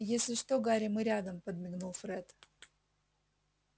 если что гарри мы рядом подмигнул фред